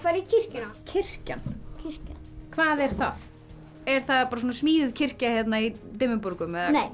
í kirkjuna kirkjan kirkjan hvað er það er það smíðuð kirkja hérna í Dimmuborgum